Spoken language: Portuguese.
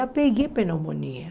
Já peguei pneumonia.